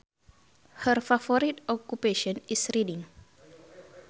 Her favorite occupation is reading